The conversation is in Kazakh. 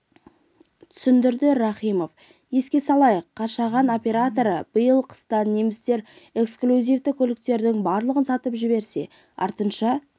түсіндірді рахимова еске салайық қашаған операторы биыл қыста немістер эксклюзивті көліктерінің барлығын сатып жіберсе артыншаі